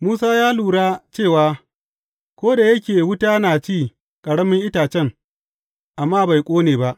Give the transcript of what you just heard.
Musa ya lura cewa ko da yake wuta na ci ƙaramin itacen, amma bai ƙone ba.